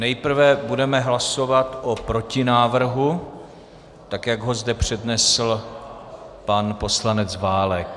Nejprve budeme hlasovat o protinávrhu, tak jak ho zde přednesl pan poslanec Válek.